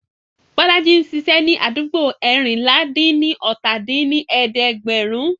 Bọ́lájí ń ṣiṣẹ́ ní àdúgbò eérinlá-dín-ní-ọ́ta dín ní ẹ̀ẹ́dẹ́gbẹ́rún